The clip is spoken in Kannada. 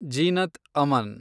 ಜೀನತ್ ಅಮನ್